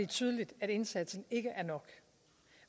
tydeligt at indsatsen ikke er nok